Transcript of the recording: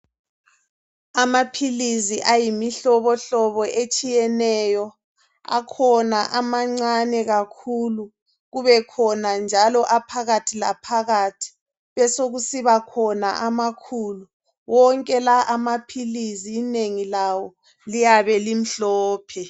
Amaphilisi ayimihlobohlobo atshiyeneyo akhona amancane kakhulu, kubekhona njalo aphakathi laphakathi besekuba khona amakhulu wonke lawa amaphilisi inengi lawo liyabe limhlophe